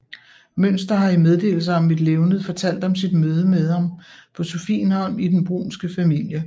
Mynster har i Meddelelser om mit Levned fortalt om sit møde med ham på Sophienholm i den brunske familie